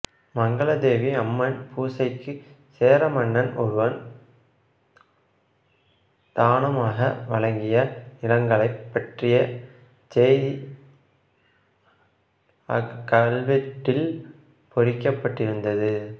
மங்கல தேவி அம்மன் பூசைக்கு சேர மன்னன் ஒருவன் தானமாக வழங்கிய நிலங்களைப் பற்றிய செய்தி அக்கல்வெட்டில் பொறிக்கப் பட்டிருந்தது